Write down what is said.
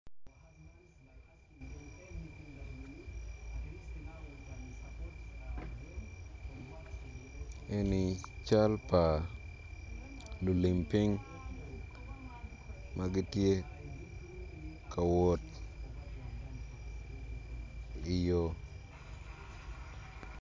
Eni cal pa lulim piny ma gitye ka wot iyo.